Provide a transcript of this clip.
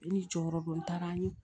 Ne ni jɔyɔrɔ don n taara n ye